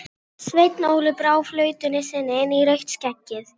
Hann var mikill á velli, áþekkur Lúter sjálfum í útliti.